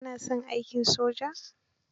Ka na son aikin soja?